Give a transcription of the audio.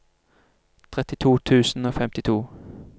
trettito tusen og femtito